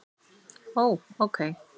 Ó. ókei